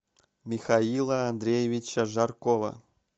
михаила андреевича жаркова